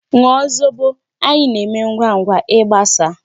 Ṅụọ zobo! Anyi na-eme ngwangwa igbasa.